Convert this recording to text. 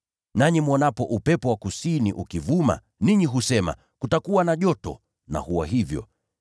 Nanyi mwonapo upepo wa kusini ukivuma, ninyi husema, ‘Kutakuwa na joto,’ na huwa hivyo.